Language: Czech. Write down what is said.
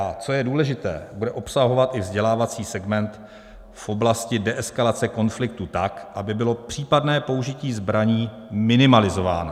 A co je důležité, bude obsahovat i vzdělávací segment v oblasti deeskalace konfliktu tak, aby bylo případné použití zbraní minimalizováno.